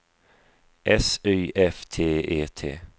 S Y F T E T